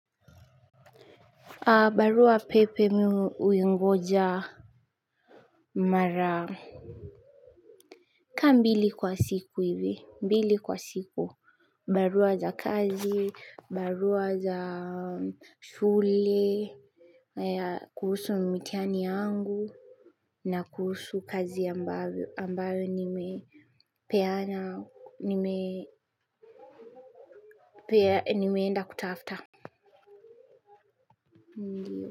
Barua pepe mimi huingoja mara kama mbili kwa siku hivi, mbili kwa siku, barua za kazi, barua za sule kuhusu mtihani yangu na kuhusu kazi ambayo nimeenda kutafuta ndiyo.